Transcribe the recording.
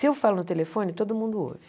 Se eu falo no telefone, todo mundo ouve.